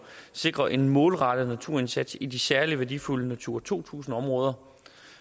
sikrer en målrettet naturindsats i de særlig værdifulde natura to tusind områder